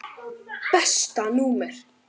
Besta númer?